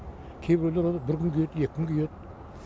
кейбіреулер оны бір күн киеді екі күн киеді